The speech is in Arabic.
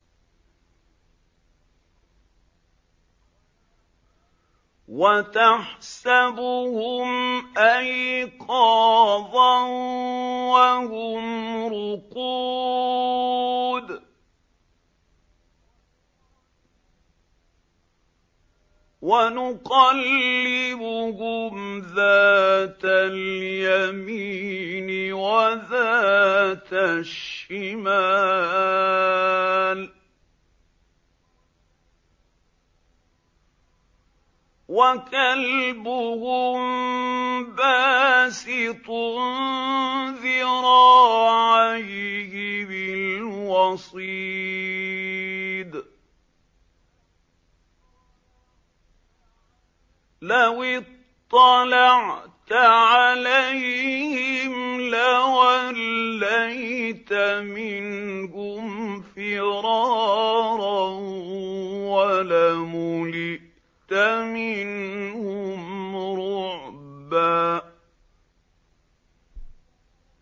وَتَحْسَبُهُمْ أَيْقَاظًا وَهُمْ رُقُودٌ ۚ وَنُقَلِّبُهُمْ ذَاتَ الْيَمِينِ وَذَاتَ الشِّمَالِ ۖ وَكَلْبُهُم بَاسِطٌ ذِرَاعَيْهِ بِالْوَصِيدِ ۚ لَوِ اطَّلَعْتَ عَلَيْهِمْ لَوَلَّيْتَ مِنْهُمْ فِرَارًا وَلَمُلِئْتَ مِنْهُمْ رُعْبًا